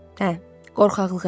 Hə, qorxaqlıq elədim.